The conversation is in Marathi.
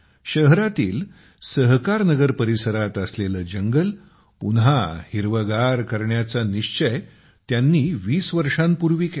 शहरातील सहकारनगर परिसरात असलेले जंगल पुन्हा हिरवेगार करण्याचा निश्चय त्यांनी 20 वर्षांपूर्वी केला